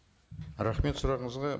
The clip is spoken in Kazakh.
рахмет сұрағыңызға